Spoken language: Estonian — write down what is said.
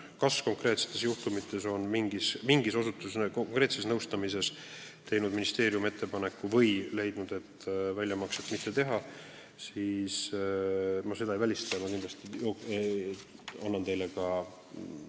Kas ministeerium on mõne konkreetse nõustamise korral teinud ka ettepaneku või lihtsalt leidnud, et väljamakset võiks mitte teha, seda ma ei tea, aga ma ei välista seda.